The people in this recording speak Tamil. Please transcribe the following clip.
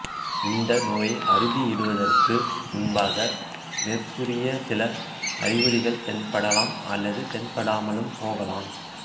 இந்த நோயை அறுதியிடுவதற்கு முன்பாக மேற்கூறிய சில அறிகுறிகள் தென்படலாம் அல்லது தென்படாமலும் போகலாம்